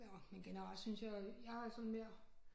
Nåh men generelt synes jeg jeg er sådan mere